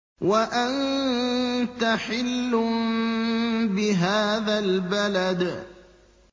وَأَنتَ حِلٌّ بِهَٰذَا الْبَلَدِ